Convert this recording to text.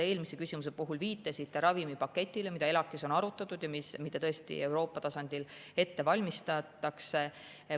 Eelmise küsimuse puhul te viitasite ravimipaketile, mida ELAK-is on arutatud ja mida tõesti Euroopa tasandil ette valmistatakse.